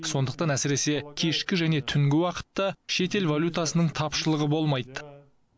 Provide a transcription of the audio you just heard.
сондықтан әсіресе кешкі және түнгі уақытта шетел валютасының тапшылығы болмайды